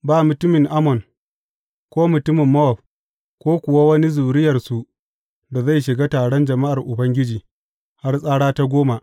Ba mutumin Ammon, ko mutumin Mowab, ko kuwa wani zuriyarsu da zai shiga taron jama’ar Ubangiji, har tsara ta goma.